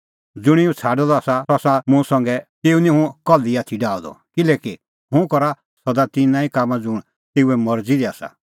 ज़ुंणी हुंह छ़ाडअ द आसा सह आसा मुंह संघै तेऊ निं हुंह कल्ही आथी डाहअ द किल्हैकि हुंह करा सदा तिन्नां ई कामां ज़ुंण तेऊए मरज़ी आसा